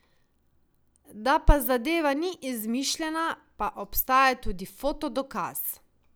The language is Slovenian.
Da pa zadeva ni izmišljena, pa obstaja tudi foto dokaz ...